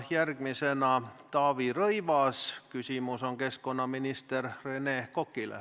Järgmisena on Taavi Rõivasel küsimus keskkonnaminister Rene Kokale.